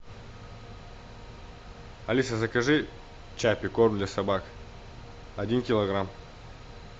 алиса закажи чаппи корм для собак один килограмм